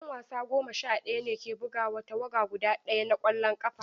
'Yan wasa goma sha ɗaya ne ke buga wa tawaga guda ɗaya na ƙwallon ƙafa.